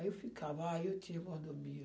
Aí eu ficava, ah, eu tinha mordomia.